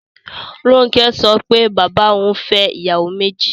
Ronke sọ pé bàbá òun fẹ́ ìyàwó méjì